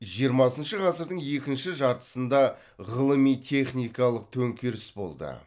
жиырмасыншы ғасырдың екінші жартысында ғылыми техникалық төңкеріс болды